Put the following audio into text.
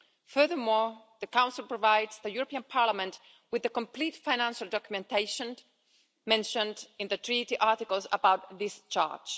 Furthermore, the Council provides the European Parliament with the complete financial documentation mentioned in the Treaty articles about discharge.